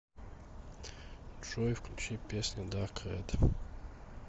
джой включи песня дарк рэд